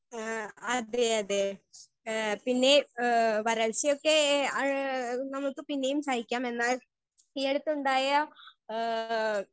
Speaker 1 ആ അതെയതെ ഏ പിന്നേം ഏ വരൾച്ചയൊക്കെ ഏ നമുക്ക് പിന്നേം സഹിക്കാം എന്നാൽ ഈയടുത്തുണ്ടായ ആ.